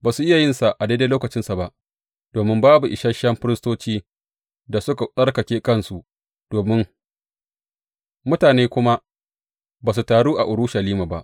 Ba su iya yinsa a daidai lokacinsa ba domin babu isashen firistocin da suka tsarkake kansu, mutane kuma ba su taru a Urushalima ba.